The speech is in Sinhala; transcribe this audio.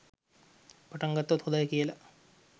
පටන්ගත්තොත් හොඳයි කියලා.